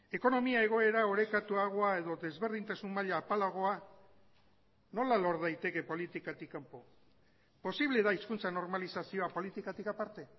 ekonomia egoera orekatuagoa edo desberdintasun maila apalagoa nola lor daiteke politikatik kanpo posible da hizkuntza normalizazioa politikatik aparte